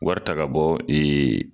Wari ta ka bɔ ee